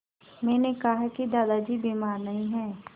मैंने कहा कि दादाजी बीमार नहीं हैं